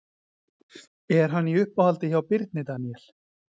Er hann í uppáhaldi hjá Birni Daníel?